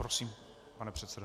Prosím, pane předsedo.